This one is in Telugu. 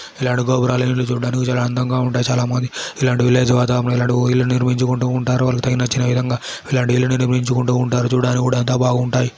ఇలాంటి గోపురాలు ఇల్లు చూడడానికి చాలా అందంగా ఉంటాయిబావుంటాయి చాలా బాగుంటాయి ఇలాంటి విలేజ్ వాతావరణం లో ఇలాంటి ఓ ఇల్లు నిర్మించుకుంటూ ఉంటారువాళ్ళకు నచ్చిన విధంగా ఇలాంటి ఇల్లు నిర్మించుకుంటూ ఉంటారుచూడ్డానికి కూడా అంతా బాగుంటాయి.